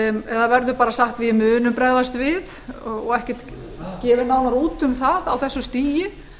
eða verður bara sagt við munum bregðast við og ekkert gefið nánar út um það á þessu stigi